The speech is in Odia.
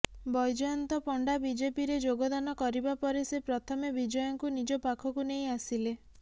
ବୈଜୟନ୍ତ ପଣ୍ଡା ବିଜେପିରେ ଯୋଗଦାନ କରିବା ପରେ ସେ ପ୍ରଥମେ ବିଜୟଙ୍କୁ ନିଜ ପାଖକୁ ନେଇ ଆସିଲେ